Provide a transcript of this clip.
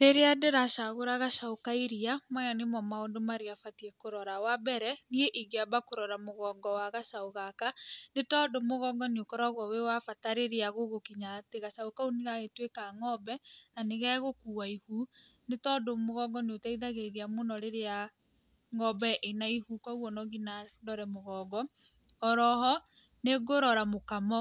Rĩrĩa ndĩracagũra gacaũ ka iria maya nĩmo maũndũ marĩa batiĩ kũrora: Wa mbere, niĩ ingĩamba kũrora mũgongo wa gacaũ gaka nĩ tondũ mũgongo nĩ ũkoragwo wĩ wa bata rĩrĩa gũgũkinya atĩ gacaũ kau nĩ gagĩtuĩka ng'ombe na nĩgegũkua ihu. Nĩ tondũ mũgongo nĩ ũteithagĩrĩria mũno rĩrĩa ng'ombe ina ihu. Koguo no nginya ndore mũgongo. Oro ho nĩ ngũrora mũkamo